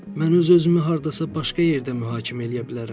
Mən öz-özümü hardasa başqa yerdə mühakimə eləyə bilərəm.